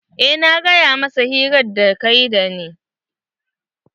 Eh na gaya masa hirar da kayi da ni.